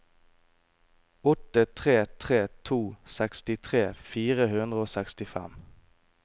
åtte tre tre to sekstitre fire hundre og sekstifem